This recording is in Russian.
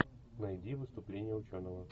найди выступление ученого